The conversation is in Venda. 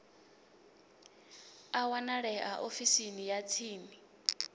a wanalea ofisini ya tsini